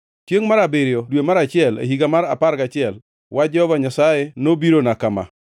Chiengʼ mar abiriyo, dwe mar achiel, e higa mar apar gachiel, wach Jehova Nyasaye nobirona kama: